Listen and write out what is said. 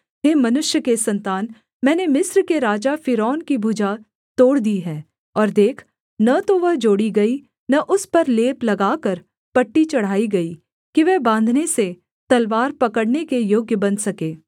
हे मनुष्य के सन्तान मैंने मिस्र के राजा फ़िरौन की भुजा तोड़ दी है और देख न तो वह जोड़ी गई न उस पर लेप लगाकर पट्टी चढ़ाई गई कि वह बाँधने से तलवार पकड़ने के योग्य बन सके